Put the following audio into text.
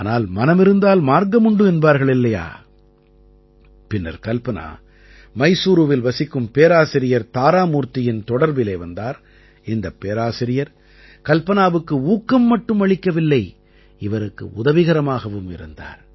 ஆனால் மனமிருந்தால் மார்க்கமுண்டு என்பார்கள் இல்லையா பின்னர் கல்பனா மைசூரூவில் வசிக்கும் பேராசிரியர் தாராமூர்த்தியின் தொடர்பிலே வந்தார் இந்தப் பேராசிரியர் கல்பனாவுக்கு ஊக்கம் மட்டும் அளிக்கவில்லை இவருக்கு உதவிகரமாகவும் இருந்தார்